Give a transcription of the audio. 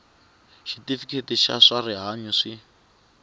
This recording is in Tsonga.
xitifiketi xa swa rihanyu swi